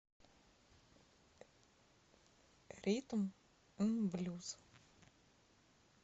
ритм н блюз